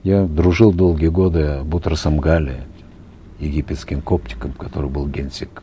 я дружил долгие годы э бутросом гали египетским который был генсек